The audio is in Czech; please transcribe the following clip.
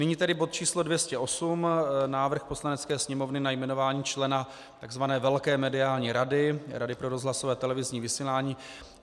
Nyní tedy bod číslo 208 - Návrh Poslanecké sněmovny na jmenování člena tzv. velké mediální rady, Rady pro rozhlasové, televizní vysílání.